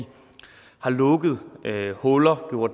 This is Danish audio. har lukket huller hvor